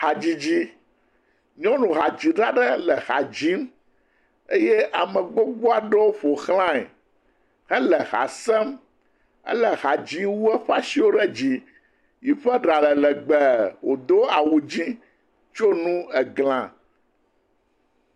Hadzidzi. Nyɔnu hadzila ɖe le ha dzim eye ame gbogbo aɖe ƒoxlãe, he le hã sem. Ele hadzim, ewu eƒe asi ɖe dzi. Ye ƒe ɖa le legbe wodo awu ɣi eye woɖo nu eglã.